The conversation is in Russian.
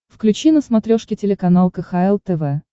включи на смотрешке телеканал кхл тв